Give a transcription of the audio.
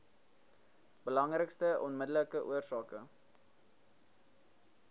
belangrikste onmiddellike oorsake